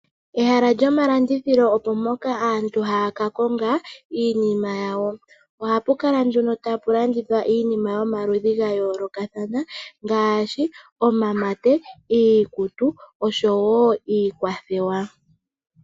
Ehala lyomalandithilo opo mpoka aantu haya ka konga iinima yawo. Ohapu kala nduno tapu landithwa iinima yomaludhi ga yoolokathana ngaashi omamate, iikutu oshowo iikwathewa.